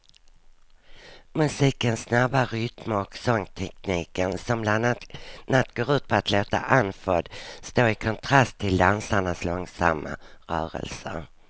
Musikens snabba rytmer och sångtekniken som bland annat går ut på att låta andfådd står i kontrast till dansarnas långsamma rörelser.